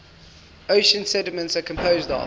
ocean sediments are composed of